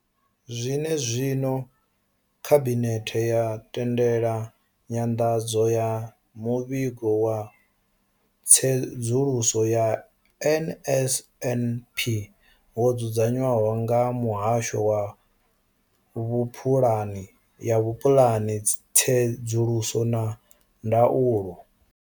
Zwene zwino, Khabinethe yo tendela nyanḓadzo ya Muvhigo wa Tsedzuluso ya NSNP wo dzudzanywaho nga Muhasho wa Vhuphulani ya Vhupulani, Tsedzuluso na Ndaulo.